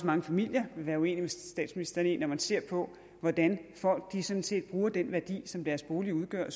mange familier vil være uenige med statsministeren i når man ser på hvordan folk sådan set bruger den værdi som deres bolig udgør